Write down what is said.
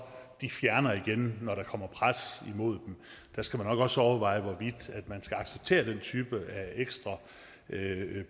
fjerner igen når der kommer pres imod dem der skal man nok også overveje hvorvidt man skal acceptere den type af ekstra